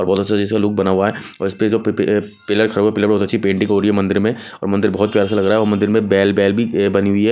और बहोत अच्छा जैसा लुक बना हुआ है और इसपे जो पे पे पिलर खड़ा हुआ पीलर बहोत आच्छी पेंटिंग हो रही मंदिर में और मंदिर बहोत प्यारा सा लग रहा और मंदिर में बनी हुई है।